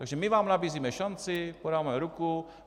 Takže my vám nabízíme šanci, podáváme ruku.